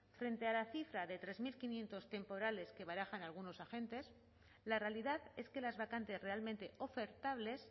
frente a la cifra de tres mil quinientos temporales que barajan algunos agentes la realidad es que las vacantes realmente ofertables